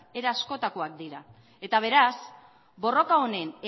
era askotakoak dira eta beraz borroka honen